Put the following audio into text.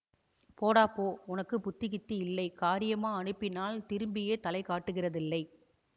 போடா போ உனக்கு புத்தி கித்தி இல்லை காரியமா அனுப்பினால் திரும்பியே தலைகாட்டுகிறதில்லை